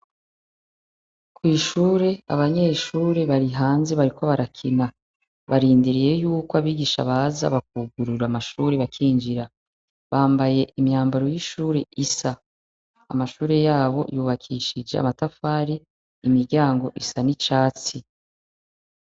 Ku ishure, abanyeshure bari hanze bariko barakina. Barindiririye y'uko abigisha baza bakugurura amashure bakinjira. Bambaye imyambaro y'ishure isa, amashure yabo yubakishije amatafari, imiryango isa n'icatsi.